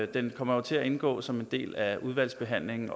den kommer jo til at indgå som en del af udvalgsbehandlingen